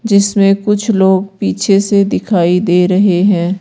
जिसमें कुछ लोग पीछे से दिखाई दे रहे हैं।